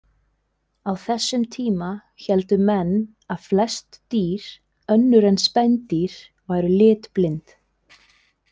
Á þessum tíma héldu menn að flest dýr önnur en spendýr væru litblind.